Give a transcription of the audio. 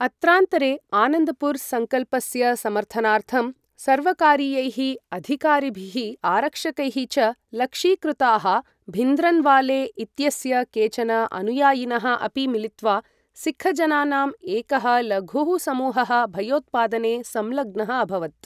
अत्रान्तरे, आनन्दपुर संकल्पस्य समर्थनार्थं सर्वकारीयैः अधिकारिभिः, आरक्षकैः च लक्षीकृताः, भिन्द्रन्वाले इत्यस्य केचन अनुयायिनः अपि मिलित्वा सिक्ख् जनानाम् एकः लघुः समूहः भयोत्पादने संलग्नः अभवत्।